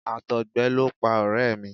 Àtọ̀gbẹ ló pa ọ̀rẹ́ mi.